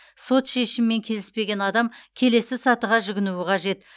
сот шешімімен келіспеген адам келесі сатыға жүгінуі қажет